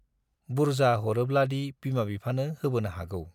बुर्जा हरोब्लादि बिमा बिफानो होबोनो हागौ।